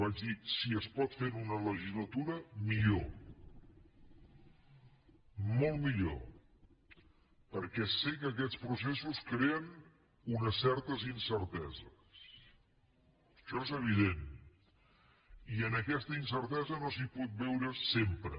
vaig dir si es pot fer en una legislatura millor molt millor perquè sé que aquests processos creen unes certes incerteses això és evident i en aquesta incertesa no s’hi pot viure sempre